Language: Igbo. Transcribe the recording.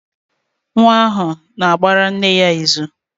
Nwa ahụ na-agbara nne ya izù.